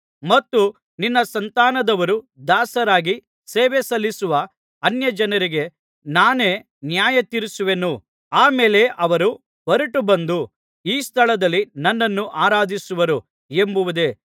ಮತ್ತು ನಿನ್ನ ಸಂತಾನದವರು ದಾಸರಾಗಿ ಸೇವೆಸಲ್ಲಿಸುವ ಅನ್ಯಜನರಿಗೆ ನಾನೇ ನ್ಯಾಯತೀರಿಸುವೆನು ಆ ಮೇಲೆ ಅವರು ಹೊರಟುಬಂದು ಈ ಸ್ಥಳದಲ್ಲಿ ನನ್ನನ್ನು ಆರಾಧಿಸುವರು ಎಂಬುದೇ